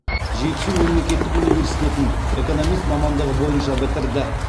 жетісу мемлекеттік университетін экономист мамандығы бойынша бітірді